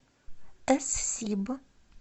эс сиб